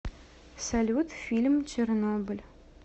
салют фильм чернобыль